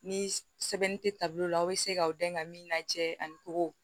Ni sɛbɛnni tɛ taabolo la aw bɛ se k'aw dɛmɛ ka min lajɛ ani kogow